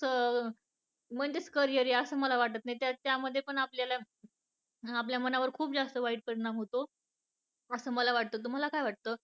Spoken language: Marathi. म्हणजेच career आहे असं मला वाटत नाही या मध्ये पण आपल्याला , आपल्या मनावर खूप जास्त वाईट परिणाम होतो असं मला वाटत तुम्हाला काय वाटत?